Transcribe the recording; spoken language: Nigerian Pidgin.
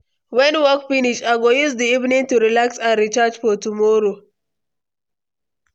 When work finish, I go use the evening to relax and recharge for tomorrow.